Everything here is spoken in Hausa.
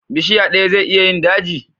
Bishiya daya zai iya yin daji?